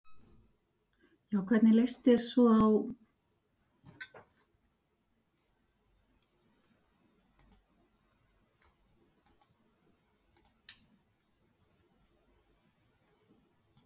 Hvernig svona leist þér á viðbrögðin og hvernig menn tókust á við ástandið?